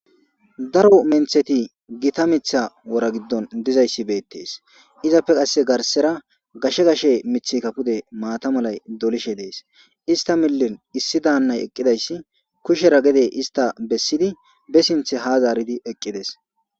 Daro mentheti gita mitha wora giddon dizayssi beettees. Izappe qasse garsera gashe gashe mithika pude maata malay dolishe dees. Ista millen issi daannay eqqidayssi kushera gede ista bessidi be sintha ha zaaridi eqqides.